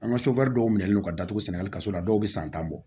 An ka sofɛri dɔw minɛlen don ka datugu sɛnɛ halisa la dɔw bɛ san tan bɔ